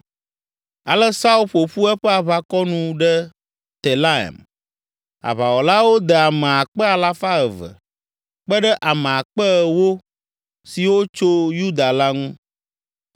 Ale Saul ƒo ƒu eƒe aʋakɔ nu ɖe Telaim. Aʋawɔlawo de ame akpe alafa eve (200,000) kpe ɖe ame akpe ewo (10,000) siwo tso Yuda la ŋu,